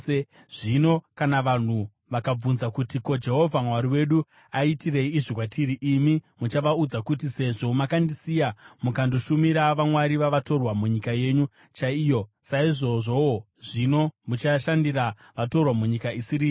Zvino kana vanhu vakabvunza kuti, ‘Ko, Jehovha Mwari wedu aitirei izvi kwatiri?’ imi muchavaudza kuti, ‘Sezvo makandisiya mukandoshumira vamwari vavatorwa munyika yenyu chaiyo, saizvozvowo zvino muchashandira vatorwa munyika isiri yenyu.’